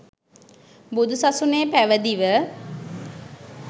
බුදු සසුනේ පැවිදිව